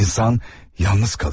İnsan yalnız qalır.